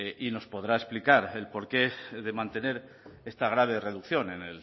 y nos podrá explicar el porqué de mantener esta grave reducción en